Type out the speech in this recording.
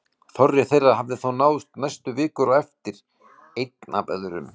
Þorri þeirra hafði þó náðst næstu vikur á eftir, einn af öðrum.